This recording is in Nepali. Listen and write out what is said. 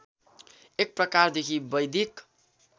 एक प्रकारदेखि वैदिक